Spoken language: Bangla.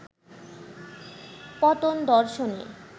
পতন দর্শনে